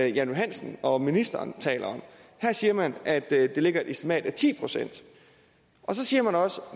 johansen og ministeren taler om her siger man at der ligger et estimat på ti procent og så siger man også